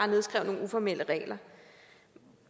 nedskrive nogle uformelle regler